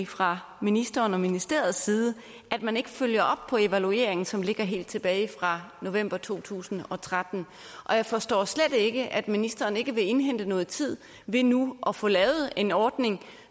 fra ministeren og ministeriets side at man ikke følger op på den evaluering som ligger helt tilbage fra november to tusind og tretten og jeg forstår slet ikke at ministeren ikke vil indhente noget tid ved nu at få lavet en ordning